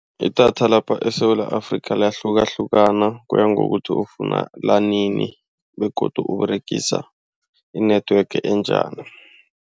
Idatha lapha eSewula Afrika liyahlukahlukana. Kuya ngokuthi ufuna linini begodu uberegisa i-network enjani.